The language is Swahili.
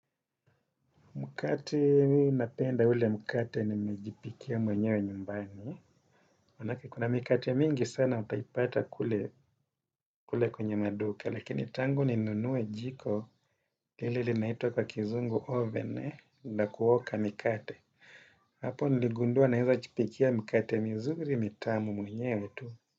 Mkate napenda ule mkate nimejipikia mwenyewe nyumbani. Maana yake kunamkate mingi sana utaipata kule kwenye maduka. Lakini tangu ninunue jiko, hili linaitwa kwa kizungu oven la kuoka mikate. Hapo niligundua ninaweza kujipikia mikate mizuri mitamu mwenyewe tu.